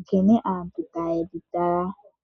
nkene aantu taye dhi tala.